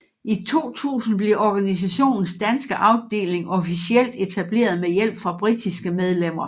I 2000 blev organisationens danske afdeling officielt etableret med hjælp fra britiske medlemmer